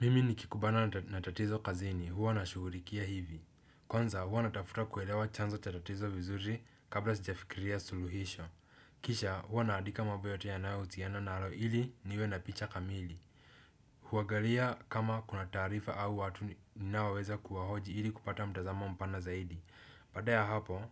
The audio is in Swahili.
Mimi nikikumbana na tatizo kazini huwa nashughulikia hivi. Kwanza huwa natafuta kuelewa chanzo cha tatizo vizuri kabla sijafikiria suluhisho. Kisha huwa naandika mambo yote yanayohusiana nalo ili niwe na picha kamili. Huangalia kama kuna taarifa au watu ninaoweza kuwahoji ili kupata mtazamo mpana zaidi. Baada ya hapo.